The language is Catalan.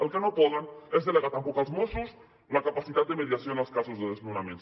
el que no poden és delegar tampoc als mossos la capacitat de mediació en els casos de desnonaments